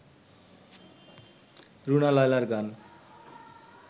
রুনা লায়লার গান